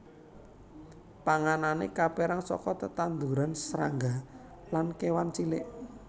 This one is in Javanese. Panganané kapérang saka tetanduran srangga lan kéwan cilik